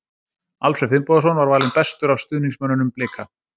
Alfreð Finnbogason var valinn bestur af stuðningsmönnunum Blika.